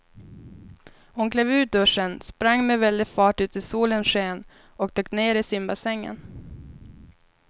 Hon klev ur duschen, sprang med väldig fart ut i solens sken och dök ner i simbassängen.